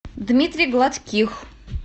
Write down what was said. дмитрий гладких